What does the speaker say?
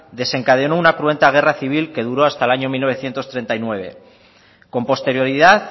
desencadenó una cruenta guerra civil que duró hasta el año mil novecientos treinta y nueve con posterioridad